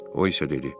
O isə dedi: